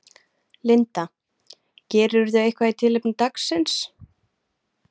Linda: Gerirðu eitthvað í tilefni dagsins?